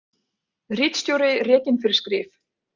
Ritstjóri rekinn fyrir skrif